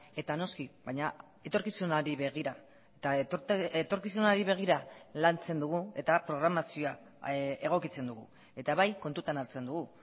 eta noski baina etorkizunari begira eta etorkizunari begira lantzen dugu eta programazioa egokitzen dugu eta bai kontutan hartzen dugu